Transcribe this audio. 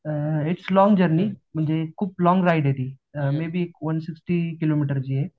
कारण एक it's long journey म्हणजे म्हणजे खूप लॉंग राईड हे ती, मे बी वन सिक्स्टी किलोमीटरची आहे